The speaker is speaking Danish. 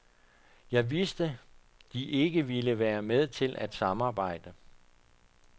Jeg vidste, de ikke ville være med til at samarbejde.